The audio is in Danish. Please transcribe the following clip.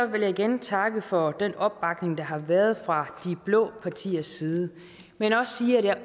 vil jeg igen takke for den opbakning der har været fra de blå partiers side men også sige at jeg